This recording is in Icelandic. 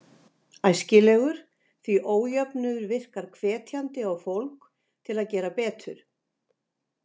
Æskilegur, því ójöfnuður virkar hvetjandi á fólk til að gera betur.